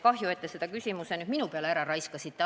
Kahju, et te selle küsimuse nüüd minu peale ära raiskasite.